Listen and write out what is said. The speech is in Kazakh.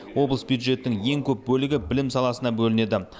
облыс бюджеттің ең көп бөлігі білім саласына бөлінеді